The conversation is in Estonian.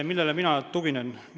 Millele mina tuginen?